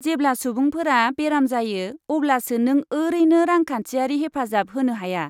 जेब्ला सुबुंफोरा बेराम जायो अब्लासो नों ओरैनो रांखान्थियारि हेफाजाब होनो हाया।